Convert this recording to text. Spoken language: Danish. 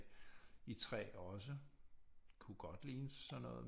I træ også kunne godt ligne sådan noget